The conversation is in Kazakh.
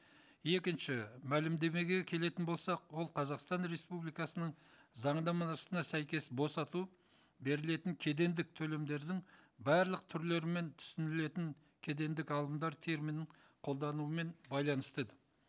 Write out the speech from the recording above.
екінші мәлімдемеге келетін болсақ ол қазақстан республикасының заңнамасына сәйкес босату берілетін кедендік төлемдердің барлық түрлері мен түсінілетін кедендік алымдар терминің қолдануымен байланысты еді